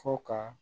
Fo ka